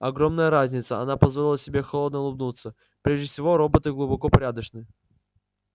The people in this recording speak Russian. огромная разница она позволила себе холодно улыбнуться прежде всего роботы глубоко порядочны